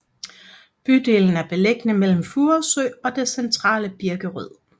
Bydelen er beliggende mellem Furesø og det centrale Birkerød